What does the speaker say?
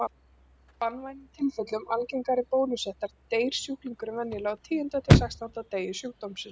Í banvænum tilfellum algengari bólusóttar deyr sjúklingurinn venjulega á tíunda til sextánda degi sjúkdómsins.